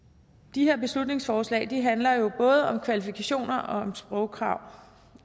de her beslutningsforslag handler jo både om kvalifikationer og om sprogkrav